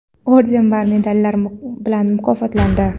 orden va medallar bilan mukofotlandi.